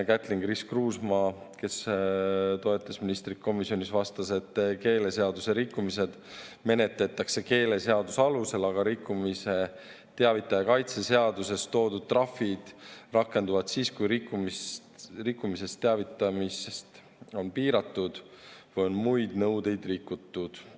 Kätlin-Chris Kruusmaa, kes toetas ministrit komisjonis, vastas, et keeleseaduse rikkumisi menetletakse keeleseaduse alusel, aga rikkumisest teavitaja kaitse seaduses toodud trahvid rakenduvad siis, kui rikkumisest teavitamist on piiratud või on muid nõudeid rikutud.